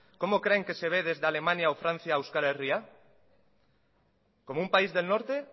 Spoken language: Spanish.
cómo creen que se ve desde alemania o francia euskal herria como un país del norte